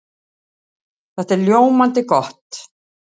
Það er ljómandi gott!